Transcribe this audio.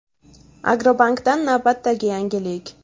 Agrobankdan navbatdagi yangilik!.